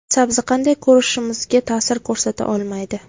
Sabzi qanday ko‘rishimizga ta’sir ko‘rsata olmaydi.